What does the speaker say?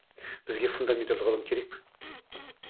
бізге фундаменталды ғылым керек